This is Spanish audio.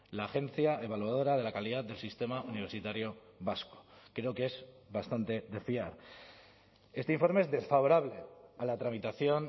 la agencia evaluadora de la calidad del sistema universitario vasco creo que es bastante de fiar este informe es desfavorable a la tramitación